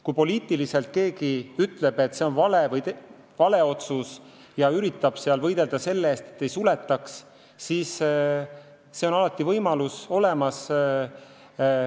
Kui keegi ütleb, et poliitiliselt on see vale otsus, ja üritab võidelda selle eest, et osakondi ei suletaks, siis see võimalus on olemas.